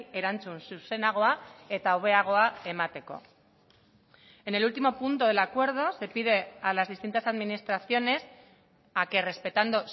erantzun zuzenagoa eta hobeagoa emateko en el último punto del acuerdo se pide a las distintas administraciones a que respetando